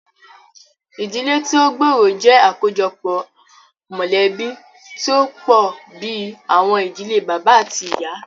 Ìdílé tí o gbóòrò jẹ́ àkójọpọ̀ mọ̀lẹ̀bí tí o pọ̀ bìí àwọn ìdílé bàbá àti tíì ìyá.